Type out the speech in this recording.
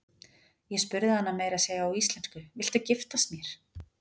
Ég spurði hana meira að segja á íslensku: Viltu giftast mér?